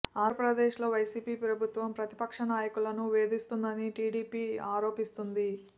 ఆంధ్రప్రదేశ్ లో వైసీపీ ప్రభుత్వం ప్రతిపక్ష నాయకులను వేధిస్తోందని టీడీపీ ఆరోపిస్తుంది